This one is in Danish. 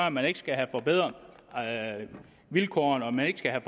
at man ikke skal have forbedret vilkårene og man ikke skal have